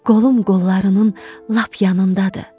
Qolum qollarının lap yanındadır.